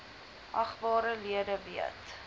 agbare lede weet